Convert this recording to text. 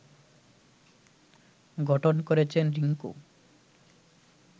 গঠন করেছেন রিংকু